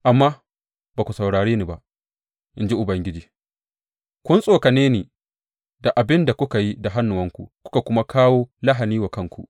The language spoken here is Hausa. Amma ba ku saurare ni ba, in ji Ubangiji, kun tsokane ni da abin da kuka yi da hannuwanku, kuka kuma kawo lahani wa kanku.